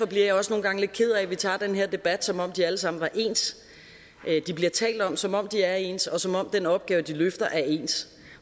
bliver også nogle gange lidt ked af at vi tager den her debat som om de alle sammen var ens de bliver talt om som om de er ens og som om den opgave de løfter er ens